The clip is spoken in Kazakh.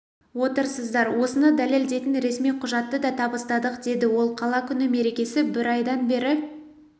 отырсыздар осыны дәлелдейтін ресми құжатты да табыстадық деді ол қала күні мерекесі бір айдан бері